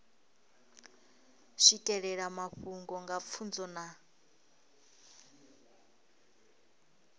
swikelela mafhungo nga pfunzo na